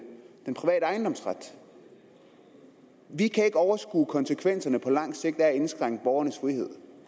den private ejendomsret vi kan ikke overskue konsekvenserne på lang sigt af at indskrænke borgernes frihed